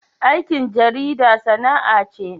Aikin jarida sana'a ce.